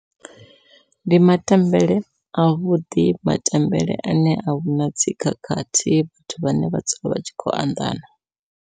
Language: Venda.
Ndi matambele a vhuḓi, matambele ane ahuna dzi khakhathi vhathu vhane vha dzula vha tshi khou anḓana.